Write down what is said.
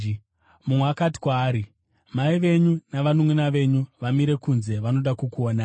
Mumwe akati kwaari, “Mai venyu navanunʼuna venyu vamire kunze, vanoda kukuonai.”